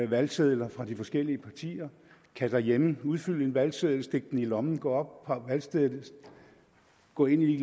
valgsedler fra de forskellige partier kan derhjemme udfylde en valgseddel stikke den i lommen gå op på valgstedet gå ind i